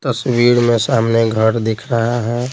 तस्वीर में सामने घर दिख रहा है।